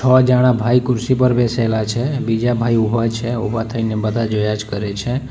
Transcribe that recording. આવા જાડા ભાઈ ખુરશી પર બેસેલા છે બીજા ભાઈ ઉભા છે ઊભા થઈને બધા જોયા જ કરે છે.